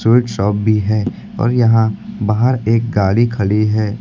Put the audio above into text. Sweet shop भी है और यहां बाहर एक गाड़ी खड़ी है।